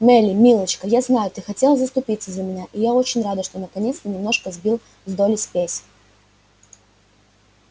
мелли милочка я знаю ты хотела заступиться за меня и я очень рада что наконец немножко сбил с долли спесь